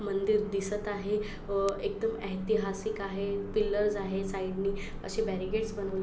मंदिर दिसत आहे. अ एकदम ऐतिहासिक आहे. पिलरस आहे. साइडनी अशे बैरिकेडस बनवले --